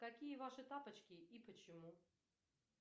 какие ваши тапочки и почему